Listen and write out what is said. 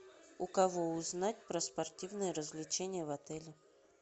у кого узнать про спортивные развлечения в отеле